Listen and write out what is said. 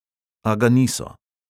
A ga niso.